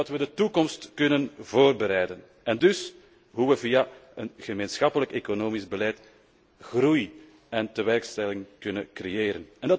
Hoe we de toekomst kunnen voorbereiden en dus hoe we via een gemeenschappelijk economisch beleid groei en tewerkstelling kunnen creëren.